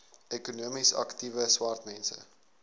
ekonomies aktiewe swartmense